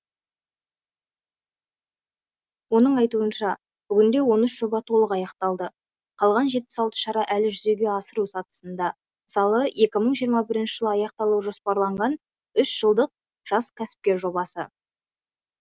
оның айтуынша бүгінде он үш жоба толық аяқталды қалған жетпіс алты шара әлі жүзеге асыру сатысында мысалы екі мың жиырма бірінші жылы аяқталуы жоспарланған үш жылдық жас кәсіпкер жобасы